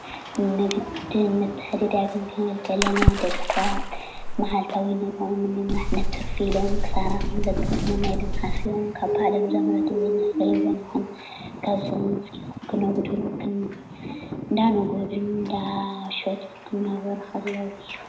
ንግድን ምትዕድደዳግን ኽንብል ከለና ደቂሰባት መዓልታዋ ነሮኦም ነምምራሕ ንትርፊ ኢሎም ክሳራ ከም ዘጋጥሞሞ ኣሚኖም ካብ ባዕሎም ዘምረትዎ ይኹን ካብ ሰብ ዝገዝእዎ እናነገዱን እናሸጡን ኽናነበሩ ኸለው ኤዩ።